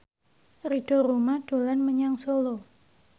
Ridho Roma dolan menyang Solo